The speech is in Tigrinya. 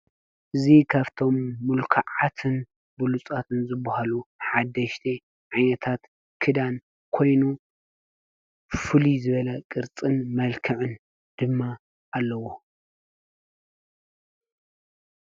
እዚ ካብቶም ምልኩዓትን ብሉፃትን ዝብሃሉ ሓደሽቲ ዓይነታት ክዳን ኮይኑ ብፍሉይ ዝበለ ቅርፅን መልክዕን ድማ ኣለዎ፡፡